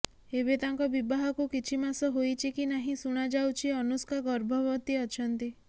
ଏବେ ତାଙ୍କ ବିବାହକୁ କିଛି ମାସ ହୋଇଛି କି ନାହିଁ ଶୁଣାଯାଉଛି ଅନୁଷ୍କା ଗର୍ଭବତୀ ଅଛନ୍ତି